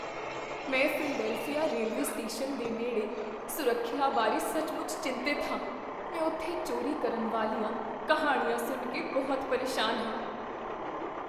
ਮੈਂ Philadelphia railway station ਦੇ ਨੇਡ਼ੇ ਸੁਰੱਖਿਆ ਬਾਰੇ ਸੱਚਮੁੱਚ ਚਿੰਤਤ ਹਾਂ, ਮੈਂ ਉੱਥੇ ਚੋਰੀ ਕਰਨ ਵਾਲੀਆਂ ਕਹਾਣੀਆਂ ਸੁਣ ਕੇ ਬਹੁਤ ਪਰੇਸ਼ਾਨ ਹਾਂ।